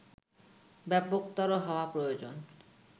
ব্যাপকতর হওয়া প্রয়োজন